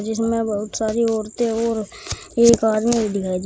इसमें बहुत सारी औरतें और एक आदमी दिखाई दे--